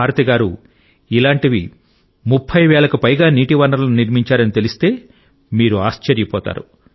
భారతి గారు ఇలాంటి 30 వేలకు పైగా నీటి వనరులను నిర్మించారని తెలిస్తే మీరు ఆశ్చర్యపోతారు